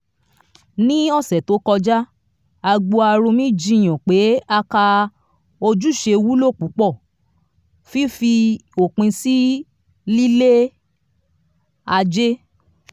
ní ọsẹ tó kọjá agboarumi jiyàn pé aka ojúṣe wúlò púpọ̀ fífi òpin sí lílé ajé